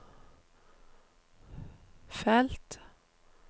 felt